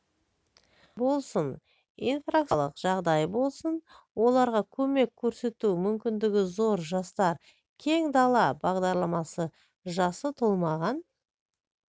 болсын инфраструктуралық жағдай болсын оларға көмек көрсету мүмкіндігі зор жастар кең дала бағдарламасы жасы толмаған